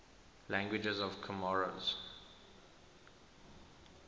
languages of comoros